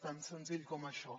tan senzill com això